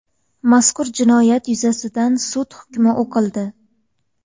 Mazkur jinoyat yuzasidan sud hukmi o‘qildi.